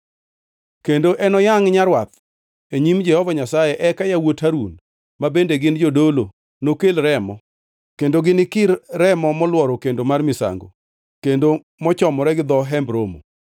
Kendo enoyangʼ nyarwath e nyim Jehova Nyasaye, eka yawuot Harun ma bende gin jodolo nokel remo, kendo ginikir remo molworo kendo mar misango kendo mochomore gi dho Hemb Romo.